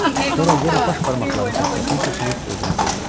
Sonra yenə baş barmaqlarını tokkasına keçirib gözünü qıydı.